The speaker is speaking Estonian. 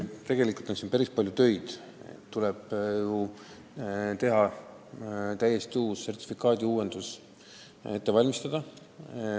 Tegelikult on ju päris palju töid vaja teha, täiesti uus sertifikaadiuuendus tuleb ette valmistada.